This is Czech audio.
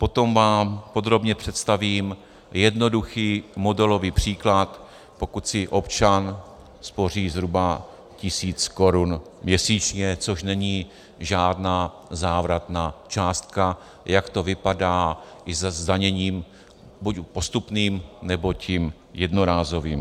Potom vám podrobně představím jednoduchý modelový příklad, pokud si občan spoří zhruba tisíc korun měsíčně, což není žádná závratná částka, jak to vypadá i se zdaněním buď postupným, nebo tím jednorázovým.